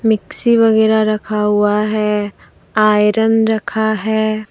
Mixie वगैरा रखा हुआ है आयरन रखा है।